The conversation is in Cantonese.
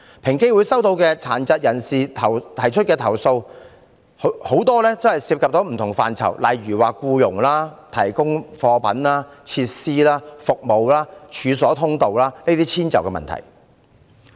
平機會收到殘疾人士提出的投訴大多涉及不同範疇，例如僱傭、提供貨品、設施及服務、處所通道等的遷就問題。